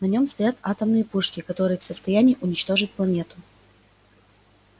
на нем стоят атомные пушки которые в состоянии уничтожить планету